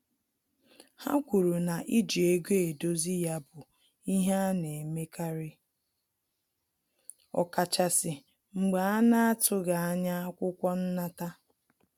Ha kwuru na iji ego edozi ya bụ ihe ana-emekari ọkachasi mgbe a na-atughi anya akwụkwọ nnata